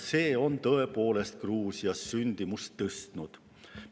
See on tõepoolest Gruusias sündimust tõstnud.